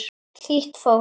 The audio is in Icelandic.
Hlýtt fólk.